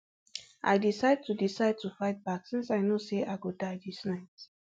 i decide to decide to fight back since i know say i go die dis night